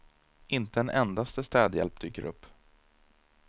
Inte en endaste städhjälp dyker upp.